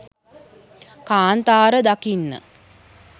කාන්තාර දකින්න